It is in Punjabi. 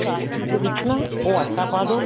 ਚਾਸਨੀ ਦੇ ਵਿੱਚ ਨਾ ਉਹ ਆਟਾ ਪਾਦੋ